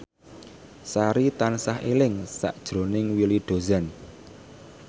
Sari tansah eling sakjroning Willy Dozan